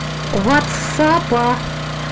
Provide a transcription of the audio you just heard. ватсапа